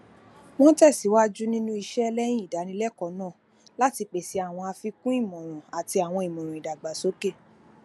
wọn tẹsiwaju ninu iṣẹ lẹyin idánilẹkọọ naa lati pese awọn afikun imọran ati awọn imọran idagbasoke